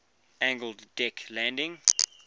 angled deck landing